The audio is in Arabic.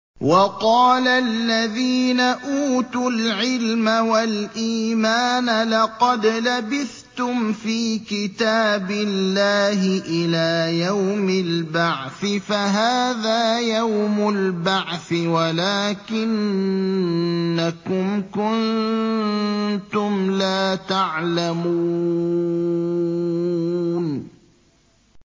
وَقَالَ الَّذِينَ أُوتُوا الْعِلْمَ وَالْإِيمَانَ لَقَدْ لَبِثْتُمْ فِي كِتَابِ اللَّهِ إِلَىٰ يَوْمِ الْبَعْثِ ۖ فَهَٰذَا يَوْمُ الْبَعْثِ وَلَٰكِنَّكُمْ كُنتُمْ لَا تَعْلَمُونَ